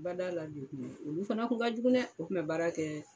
Bada la olu fana kun ka jugu dɛɛɛ! O kun bɛ baara kɛɛ.